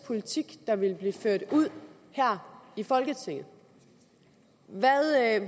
politik der ville blive ført ud her i folketinget